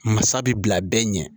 Masa bila bɛɛ ɲɛ